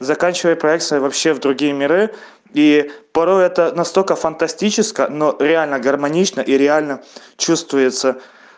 заканчивай проекцию вообще в другие миры и порой это настолько фантастическо но реально гармонично реально чувствуется